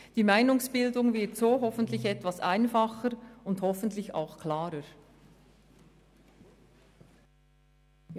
Die Meinungsbildung wird dadurch hoffentlich etwas einfacher und klarer.